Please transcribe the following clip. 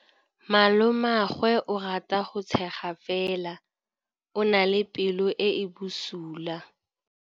Malomagwe o rata go tshega fela o na le pelo e e bosula.